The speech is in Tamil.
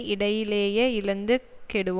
இடையிலேயே இழந்து கெடுவான்